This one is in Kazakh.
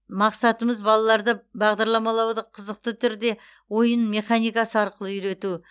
мақсатымыз балаларды бағдарламалауды қызықты түрде ойын механикасы арқылы үйрету